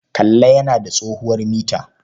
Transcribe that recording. Kalla yana da tsohuwar mita.